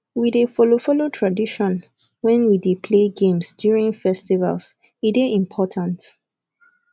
we dey follow follow tradition wen we dey play games during festivals e dey important